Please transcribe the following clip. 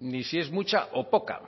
ni si es mucha o poca